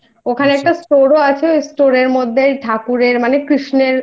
ওখানে একটা Store ও আছে ওই Store এর মধ্যে ঠাকুরের